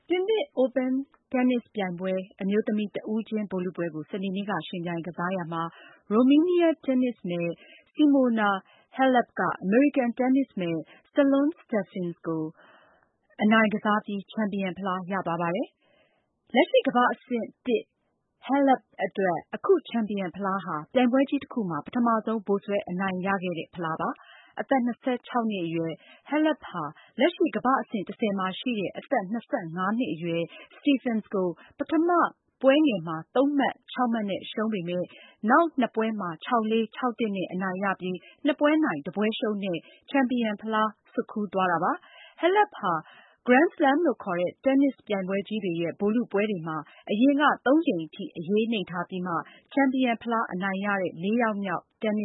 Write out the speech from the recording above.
တင်းနစ်ပြိုင်ပွဲ အမျိုးသမီး တဦးချင်းဗိုလ်လုပွဲကို စနေနေ့က ယှဉ်ပြိုင်ကစားတာမှာ ရိုမေးနီးယား တင်းနစ်မယ် Simona Halep က အမေရိကန် တင်းနစ်မယ် Sloane Stephens ကို အနိုင်ကစားပြီး ချန်ပီယံဖလား ရသွားပါတယ်။ လက်ရှိ ကမ္ဘာ့အဆင့် ၁ Halep အတွက် အခု ချန်ပီယံဖလားဟာ ပြိုင်ပွဲကြီးတခုမှာ ပထမဆုံး ဗိုလ်စွဲ အနိုင်ရတဲ့ဖလားပါ။ အသက် ၂၆ နှစ်အရွယ် Halep ဟာ လက်ရှိ ကမ္ဘာ့အဆင့် ၁၀ မှာရှိတဲ့ အသက် ၂၅ နှစ်အရွယ် Stephens ကို ပထမပွဲငယ်မှာ ၃ မှတ် ၆ မှတ်နဲ့ ရှုံးပေမဲ့ နောက်နှစ်ပွဲမှာ ၆-၄၊ ၆-၁ နဲ့ အနိုင်ရပြီး နှစ်ပွဲနိုင် တပွဲရှုံးနဲ့ ချန်ပီယံဖလား ဆွတ်ခူးသွားတာပါ။ Halep ဟာ Grand Slam လို့ခေါ်တဲ့ တင်းနစ်ပြိုင်ပွဲကြီးတွေရဲ့ ဗိုလ်လုပွဲတွေမှာ အရင်က သုံးကြိမ်ထိ အရေးနိမ့်ထားပြီးမှ ချန်ပီယံ ဖလားအနိုင်ရတဲ့ လေးယောက်မြောက် တင်း